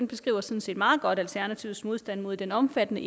beskriver sådan set meget godt alternativets modstand mod den omfattende